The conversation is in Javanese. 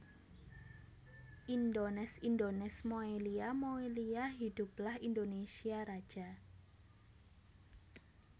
Indones Indones Moelia Moelia Hidoeplah Indonésia Raja